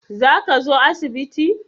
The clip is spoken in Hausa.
Za ka zo asibiti?